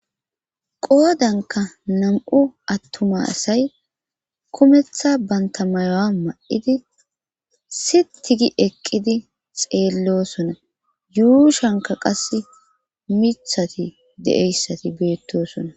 Qoodanka nam'u attuma asay kumetha banta mayowa ma'idi si tigi eqqidi xeellosona yuushanka qase mithati de'eyssati beettoosona.